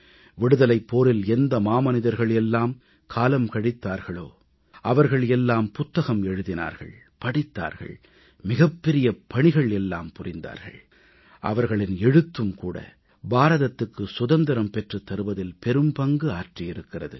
விடுதலைப் போரில் எந்த மாமனிதர்கள் எல்லாம் காலம் கழித்தார்களோ அவர்கள் எல்லாம் புத்தகம் எழுதினார்கள் படித்தார்கள் மிகப்பெரிய பணிகள் எல்லாம் புரிந்தார்கள் அவர்களின் எழுத்தும் கூட பாரதத்துக்கு சுதந்திரம் பெற்றுத் தருவதில் பெரும்பங்கு ஆற்றியிருக்கிறது